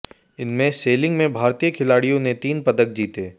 इनमें सेलिंग में भारतीय खिलाड़ियों ने तीन पदक जीते